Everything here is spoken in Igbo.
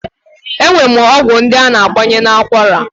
E nwere ọgwụ ndị a na-agbanye n'akwara